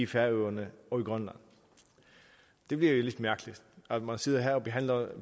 færøerne og i grønland det virker lidt mærkeligt at man sidder her og behandler